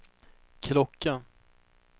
klocka